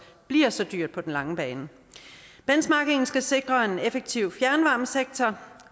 bliver så dyrt på den lange bane benchmarkingen skal sikre en effektiv fjernvarmesektor